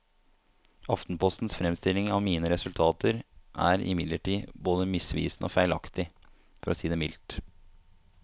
Aftenpostens fremstilling av mine resultater er imidlertid både misvisende og feilaktig, for å si det mildt.